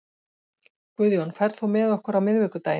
Guðjón, ferð þú með okkur á miðvikudaginn?